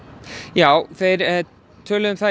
já þeir töluðum um það